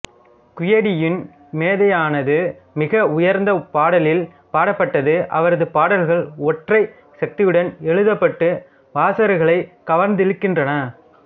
குயிடியின் மேதையானது மிக உயர்ந்த பாடலில் பாடப்பட்டது அவரது பாடல்கள் ஒற்றை சக்தியுடன் எழுதப்பட்டு வாசகர்களை கவர்ந்திழுக்கின்றன